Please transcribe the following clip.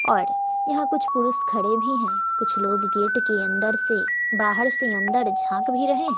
और यहां कुछ पुरुष खड़े भी हैं कुछ लोग गेट के अंदर से बाहर से अंदर झांक भी रहे--